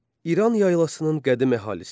İran yaylasının qədim əhalisi.